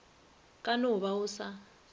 ka no ba go sa